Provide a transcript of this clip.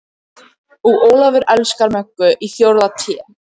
Og Ólafur elskar Möggu í fjórða Té.